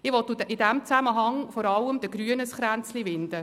Ich will in diesem Zusammenhang vor allem den Grünen einen Kranz winden.